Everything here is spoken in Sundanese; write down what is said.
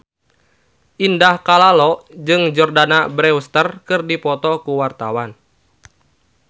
Indah Kalalo jeung Jordana Brewster keur dipoto ku wartawan